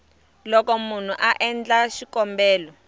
loko munhu a endla xikombelo